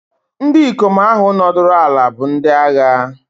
Ndị ikom ahụ nọdụrụ ala bụ ndị agha.